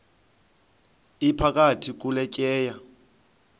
iphakathi kule tyeya